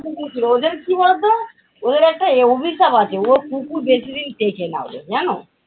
কুকুর ছিল। ওদের কী বলতো ওদের একটা এর অভিশাপ আছে কুকুর বেশীদিন টেকে না ওদের জানো।